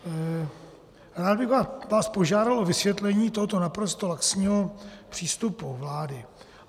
Rád bych vás požádal o vysvětlení tohoto naprosto laxního přístupu vlády.